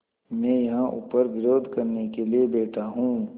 मैं यहाँ ऊपर विरोध करने के लिए बैठा हूँ